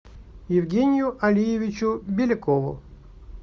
евгению алиевичу белякову